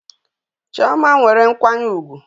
Chioma nwere nkwanye ugwu